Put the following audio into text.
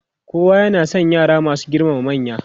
kowa na San yara masu girmama manya.